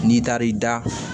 N'i taar'i da